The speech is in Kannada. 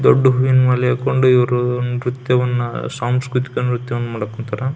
ದೊಡ್ಡ ಹೂವಿನ ಮಾಲೆ ಹಾಕೊಂಡು ಇವ್ರು ನ್ರತ್ಯವನ್ನು ಸಾಂಸ್ಕೃತಿಕ ನ್ರತ್ಯವನ್ನು ಮಾಡ್ತಾರಾ-